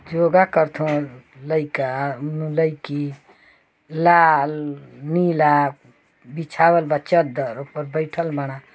योगा करत हवन लइका लइकी लाल नीला बीछावल बा चद्दर ओपर बईठल बाड़न।